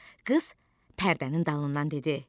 Qız pərdənin dalından dedi: